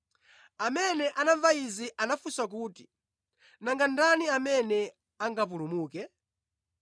Amene anamva izi anafunsa kuti, “Nanga ndani amene angapulumuke?”